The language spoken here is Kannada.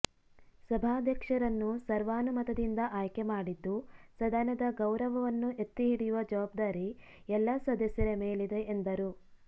ಸಭಾಧ್ಯಕ್ಷರನ್ನು ಸರ್ವಾನುಮತದಿಂದ ಆಯ್ಕೆ ಮಾಡಿದ್ದು ಸದನದ ಗೌರವನ್ನು ಎತ್ತಿಹಿಡಿಯುವ ಜವಾಬ್ದಾರಿ ಎಲ್ಲ ಸದಸ್ಯರ ಮೇಲಿದೆ ಎಂದರು